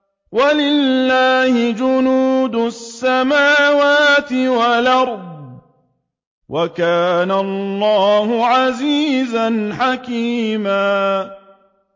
وَلِلَّهِ جُنُودُ السَّمَاوَاتِ وَالْأَرْضِ ۚ وَكَانَ اللَّهُ عَزِيزًا حَكِيمًا